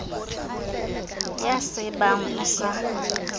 ya c ebang o sa